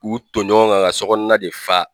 K'u ton ɲɔgɔn kan ka sɔgɔnɔna de fa